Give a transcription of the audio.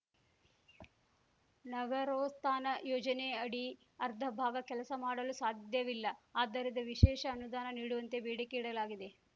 ನಗರೋತ್ಥಾನ ಯೋಜನೆಅಡಿ ಅರ್ಧ ಭಾಗ ಕೆಲಸ ಮಾಡಲು ಸಾಧ್ಯವಿಲ್ಲ ಆದ್ದರಿದ್ದ ವಿಶೇಷ ಅನುದಾನ ನೀಡುವಂತೆ ಬೇಡಿಕೆ ಇಡಲಾಗಿದೆ